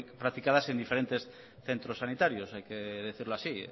practicadas en diferentes centros sanitarios hay que decirlo así